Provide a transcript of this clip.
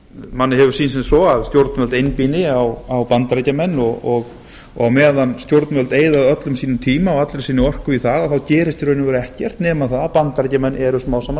manni hefur sýnst sem svo að stjórnvöld einblína á bandaríkjamenn og á meðan stjórnvöld eyða öllum sínum tíma og allri sinni orku í það þá gerist í raun og veru ekkert nema það að bandaríkjamenn eru smám saman að